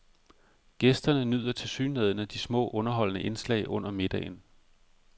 Gæsterne nyder tilsyneladende de små underholdende indslag under middagen.